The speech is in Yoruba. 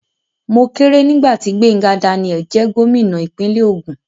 Mo keré nígbàtí Gbenga Daniel jẹ́ gómìnà ìpínlẹ̀ Ògùn.